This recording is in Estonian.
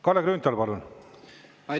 Kalle Grünthal, palun!